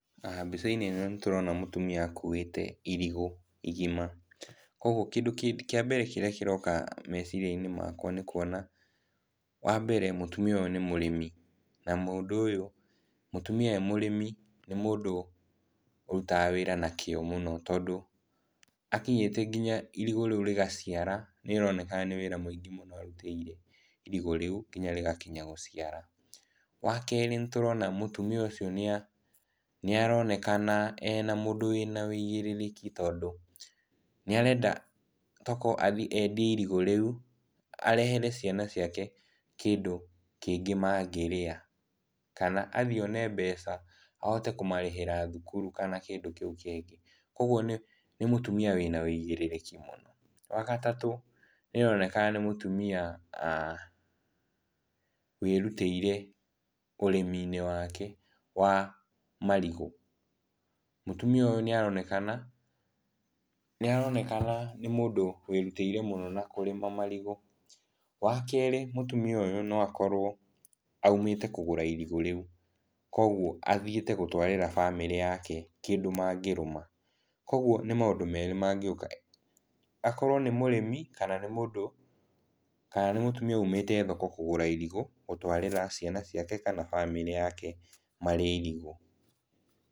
Mbica-inĩ ĩno nĩtũrona mũtumia akuĩte irigũ igima, koguo kĩndũ kĩa mbere kĩroka meciria-inĩ makwa nĩ kuona wa mbere mũtumia ũyũ nĩ mũrĩmi, na mũndũ ũyũ, mũtumia arĩ mũrĩmi nĩ mũndũ ũrutaga wĩra na kĩo mũno, tondũ akinyĩte nginya irigũ rĩu rĩgaciara nĩaroneka nĩ wĩra mũingĩ mũno arutĩire irigũ rĩu nginya rĩgakinya gũciara. Wa kerĩ, nĩtũrona mũtumia ũcio nĩaronekana e mũndũ wĩna ũigĩrĩrĩki, tondũ nĩarenda tokorwo athiĩ endie irigũ rĩu arehere ciana ciake kĩndũ kĩngĩ mangĩrĩa. Kana athiĩ one mbeca ahote kũmarĩhĩra thukuru kana kĩndũ kĩu kĩngĩ koguo nĩ mũtumia wĩna wũigĩrĩrĩki mũno. Wa gatatũ, nĩaronekana nĩ mũtumia wĩrutĩire ũrĩmi-inĩ wake wa marigũ. Mũtumia ũyũ nĩaronekana nĩ mũndũ wĩrutĩire mũno na kũrĩma marigũ. Wa kerĩ, mũtumia ũyũ no akorwo aumĩte kũgũra irigũ rĩu, koguo athiĩte gũtwarĩra bamĩrĩ yake kĩndũ mangĩrũma. Koguo nĩ maũndũ merĩ mangĩũka akorwo nĩ mũrĩmi kana nĩ mũtumia umĩte thoko kũgũra irigũ gũtwarĩra ciana ciake kana bamĩrĩ yake marĩe irigũ.